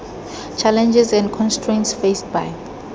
challenges and constraints faced by